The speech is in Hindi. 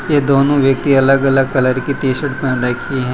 ये दोनों व्यक्ति अलग अलग कलर की टी शर्ट पेहन रखी है।